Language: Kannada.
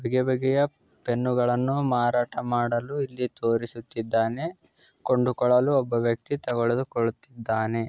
ಬಗೆ ಬಗೆಯ ಪೆನ್ನುಗಳನ್ನು ಮಾರಾಟ ಮಾಡಲು ಇಲ್ಲಿ ತೋರಿಸುತ್ತಿದ್ದಾನೆ ಕೊಂಡುಕೊಳ್ಳಲು ಒಬ್ಬ ವ್ಯಕ್ತಿ ತೆಗುದು ಕೊಳ್ಳುತ್ತಿದ್ದಾನೆ.